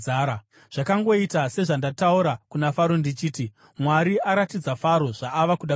“Zvakangoita sezvandataura kuna Faro ndichiti: Mwari aratidza Faro zvaava kuda kuita.